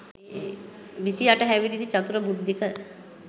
විසි අට හැවිරිදි චතුර බුද්ධික.